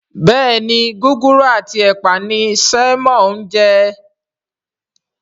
Béèni Gúgúrú ati ẹpa ní Simon ń je.